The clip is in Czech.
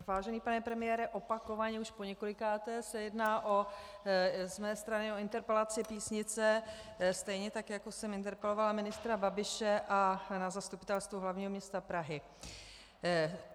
Vážený pane premiére, opakovaně, už poněkolikáté, se jedná z mé strany o interpelaci Písnice, stejně tak jako jsem interpelovala ministra Babiše a na Zastupitelstvu hlavního města Prahy.